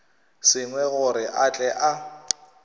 sengwai gore a tle a